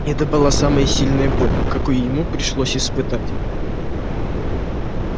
это была самая сильная боль какую ему пришлось испытать